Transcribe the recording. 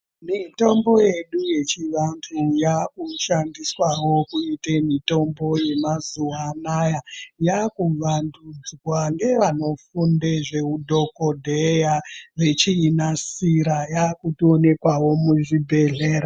Mitombo yedu yechivantu yakushandiswawo kuite mitombo yemazuva ano aya yakuvandudzwa ngevanofunda zveudhokodheya vechiinasira yakutoonekwao muzvibhedhlera